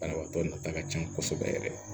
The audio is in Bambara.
Banabaatɔ nata ka ca kosɛbɛ yɛrɛ